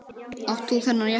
Átt þú þennan jeppa?